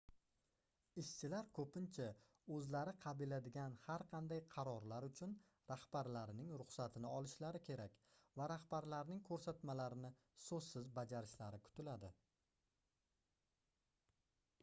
ishshilar koʻpincha oʻzlari qabiladigan har qanday qarorlar uchun rahbarlarining ruxsatini olishlari kerak va rahbarlarining koʻrsatmalarini soʻzsiz bajarishlari kutiladi